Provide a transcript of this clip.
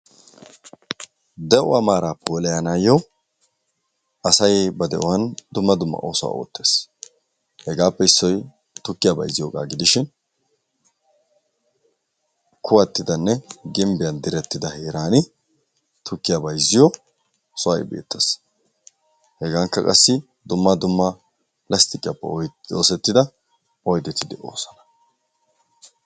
De'uwaa maara puulaayanayo asay ba de'uwan dumma dumma oosuwaa oottes. Hegaappe issoy tukkiya bayzziyoga gidishin kuwattidane gimbiyan direttida heerani tukkiya bayzziyo sohoy beetees. Hegaankka qassi dumma dumma lasttiqiyaappe oosettida oyddeti de'osona.